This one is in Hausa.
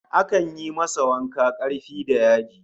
Akan yi masa wanka karfi da yaji